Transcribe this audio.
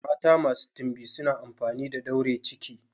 Mata masu timbi suna amfani da daure ciki.